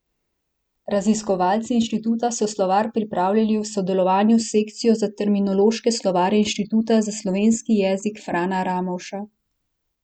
Raziskovalci inštituta so slovar pripravljali v sodelovanju s sekcijo za terminološke slovarje Inštituta za slovenski jezik Frana Ramovša.